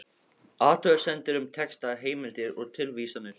Athugasemdir um texta, heimildir og tilvísanir